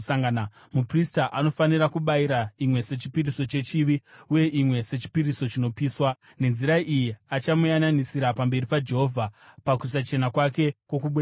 Muprista anofanira kubayira imwe sechipiriso chechivi, uye imwe sechipiriso chinopiswa. Nenzira iyi achamuyananisira pamberi paJehovha pakusachena kwake kwokubuda ropa.